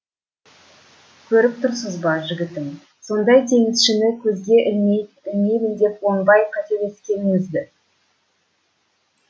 көріп тұрсыз ба жігітім сондай теңізшіні көзге ілмеймін деп оңбай қателескеніңізді